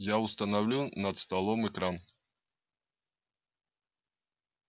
я установлю над столом экран